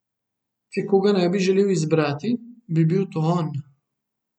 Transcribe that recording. Če koga ne bi želel izbrati, bi bil to on.